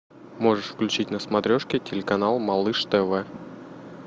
можешь включить на смотрешке телеканал малыш тв